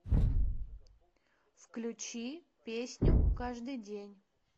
включи песню каждый день